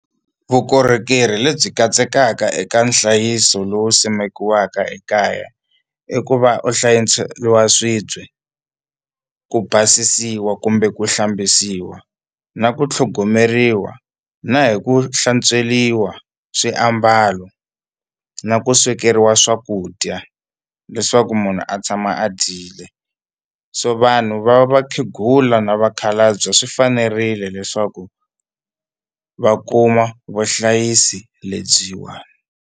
Vukorhokeri lebyi katsekaka eka nhlayiso lowu simikiweke ekaya i ku va u swibye ku basisiwa kumbe ku hlambisiwa na ku tlhogomeriwa na hi ku hlantsweriwa swiambalo na ku swekeriwa swakudya leswaku munhu a tshama a dyile so vanhu va vakhegula na vakhalabye swi fanerile leswaku va kuma vuhlayisi lebyiwani.